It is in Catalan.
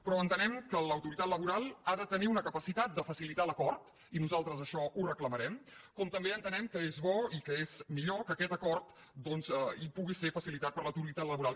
però entenem que l’autoritat laboral ha de tenir una capacitat de facilitar l’acord i nosaltres això ho reclamarem com també entenem que és bo i que és millor que aquest acord pugui ser facilitat per l’autoritat laboral